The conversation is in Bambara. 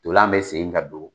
Tolan bɛ segin ka don.